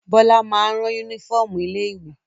Bọ́lá máa ń rán únífọ́ọ́mù ilé-ìwé.